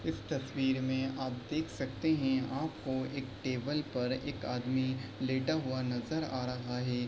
इस तस्वीर में आप देख सकते हैं आपको एक टेबल पर एक आदमी लेटा हुआ नजर आ रहा है।